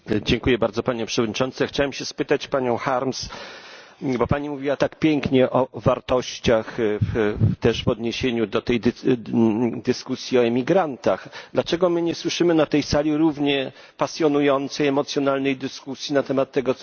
Chciałbym zapytać panią Harms bo pani mówiła tak pięknie o wartościach w odniesieniu do dyskusji o emigrantach dlaczego nie słyszymy na tej sali równie pasjonującej, emocjonalnej dyskusji na temat tego, co się dzieje w Niemczech.